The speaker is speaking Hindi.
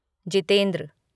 जितेंद्र